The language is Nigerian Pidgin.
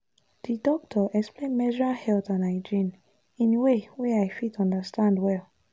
the doctor explain menstrual health and hygiene in way wey i fit understand understand well.